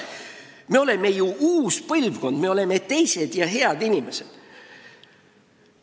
Me oleme ju uus põlvkond: me oleme teised ja head inimesed!